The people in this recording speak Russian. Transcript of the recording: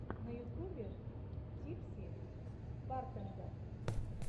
на ютубе типси бартендер